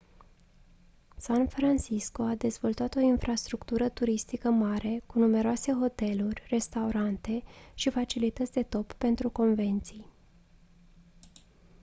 san francisco a dezvoltat o infrastructură turistică mare cu numeroase hoteluri restaurante și facilități de top pentru convenții